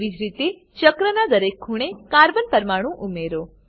તેવી જ રીતે ચક્રનાં દરેક ખૂણે કાર્બન પરમાણુ ઉમેરો